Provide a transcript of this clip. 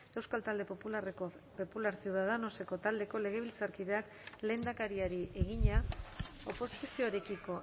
euskal talde popularra ciudadanos taldeko legebiltzarkideak lehendakariari egina oposizioarekiko